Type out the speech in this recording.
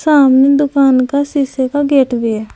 सामने दुकान का शीशे का गेट भी है।